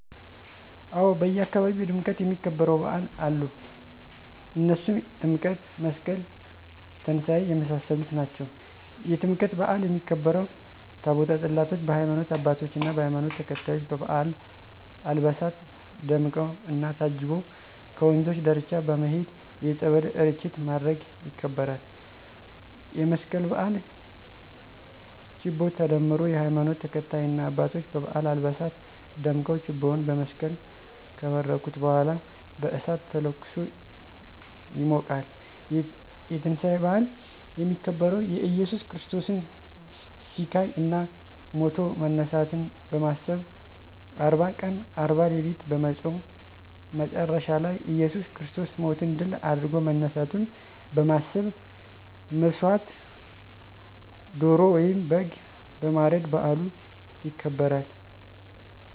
አዎ! በአካባቢየ በድምቀት የሚከበሩ በዓል አሉ። እነሱም ጥምቀት፣ መስቀል፣ ትንሳኤ የመሳሰሉት ናቸው። -የጥምቀት በዓል የሚከበረው፦ ታቦተ ፅላቶች በሀይማኖት አባቶች እና በሀይማኖቱ ተከታዮች በባበዓል አልባሳት ደምቀው እና ታጅቦ ከወንዞች ዳርቻ በመሄድ የፀበል እርጭት ማድረግ ይከበራል። -የመስቀል በዓል፦ ችቦ ተደምሮ የሀይማኖቱ ተከታይ እና አባቶች በበዓል አልባሳት ደምቀው ችቦውን በመስቀል ከባረኩት በኃላ በእሳት ተለኩሶ ይሞቃል። -የትንሳኤ በዓል፦ የሚከበረው የእየሱስ ክርስቶስን ሲቃይ እና ሞቶ መነሳትን በማሰብ አርባ ቀን አርባ ሌሊት በመፆም መቸረሻ ላይ እየሱስ ክርስቶስ ሞትን ድል አድርጎ መነሳቱን በመሠብ መሠዋት ዶሮ ወይም በግ በማረድ በዓሉ ይከበራል።